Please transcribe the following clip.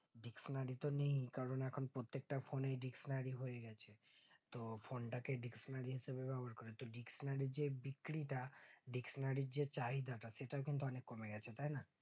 dictionary তো নেয়নি কারণ এখন প্রত্যেকটা phone এ dictionary হয়েগেছে তো phone টাকে dictionary হিসাবে বা হয়তো dictionary যে বিক্রিটা dictionary রির যেচাহিদা টা সেটা কিন্তু অনিক কমে গেছে তাইনা